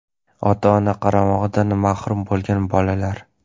ota-ona qaramog‘idan mahrum bo‘lgan bolalar;.